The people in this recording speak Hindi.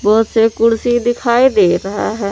कुर्सी दिखाई दे रहा है।